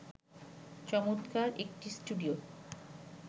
চমৎকার একটি স্টুডিও